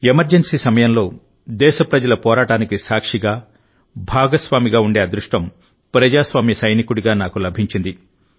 emergency సమయంలోదేశప్రజల పోరాటానికి సాక్షిగా భాగస్వామిగా ఉండే అదృష్టం ప్రజాస్వామ్య సైనికుడిగా నాకు లభించింది